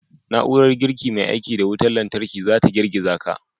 Na'urar girki mai aiki da wutar lantarki za ta girgiza ka.